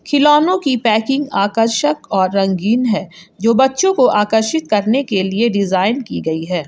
खिलौने की पैकिंग आकर्षक और रंगीन है जो बच्चों को आकर्षित करने के लिए डिजाइन की गई है।